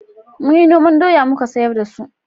Mun yi noman doya muka sayar da su